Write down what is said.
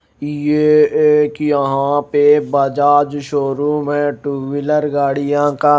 ये एक यहां पे बजाज शोरूम है टू व्हीलर गाड़ियां का।